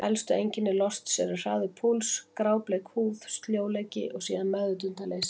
Helstu einkenni losts eru: hraður púls, grábleik húð, sljóleiki og síðan meðvitundarleysi.